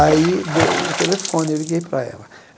Aí deu o telefone, e eu liguei para ela.